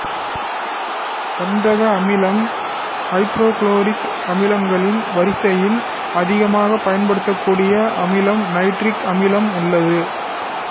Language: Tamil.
கந்தக அமிலம் ஐதரோகுளோரிக் அமிலங்களின் வரிசையில் அதிகமாக பயன்படக்கூடிய அமிலமாக நைட்ரிக் அமிலம் உள்ளது